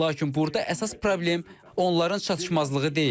Lakin burda əsas problem onların çatışmazlığı deyil.